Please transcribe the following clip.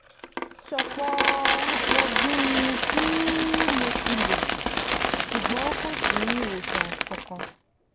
sọ̀pọ̀ọ̀ òògùn tí mo ti lò ṣùgbọ́n kò sí ìwòsàn kankan.